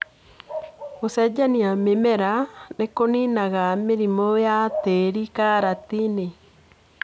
Gũcenjania mĩmera nĩkũninaga mĩrimũ ya tĩri karatinĩ.